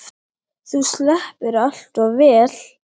Þú sleppur allt of vel.